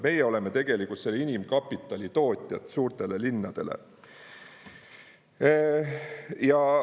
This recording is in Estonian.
Meie oleme tegelikult selle inimkapitali tootjad suurtele linnadele.